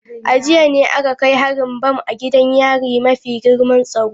A jiya ne aka kai harin bam a gidan yarin mafi girman tsaro.